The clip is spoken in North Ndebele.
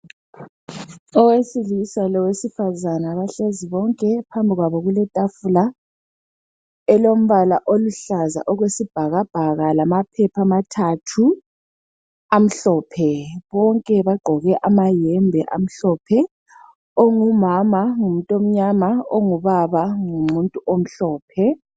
Owesilisa lowesifazana bahlezi bonke, phambi kwabo kuletafula, elombala oluhlaza okwesibhakabhaka lamaphepha amathathu amhlophe, bonke bagqoke amayembe amhlophe. Ongumama ngumuntu omnyama ongubaba ngumuntu omhlophe.